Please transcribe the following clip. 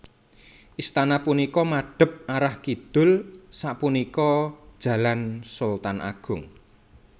Istana punika madhep arah kidul sapunika Jalan Sultan Agung